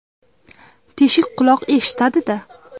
Teshik quloq eshitadi-da.